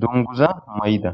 dunguza mayida.